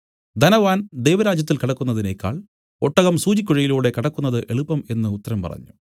ധനവാൻ ദൈവരാജ്യത്തിൽ കടക്കുന്നതിനേക്കാൾ ഒട്ടകം സൂചിക്കുഴയിലൂടെ കടക്കുന്നത് എളുപ്പം എന്നു ഉത്തരം പറഞ്ഞു